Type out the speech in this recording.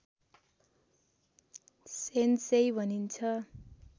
sensei भनिन्छ